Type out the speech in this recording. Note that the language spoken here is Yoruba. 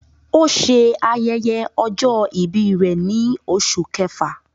O ṣe ayẹyẹ ọjọ-ibi rẹ ni Oṣu Kẹfa